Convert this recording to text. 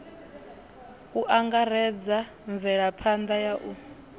u angaredza mvelaphanḓa ya u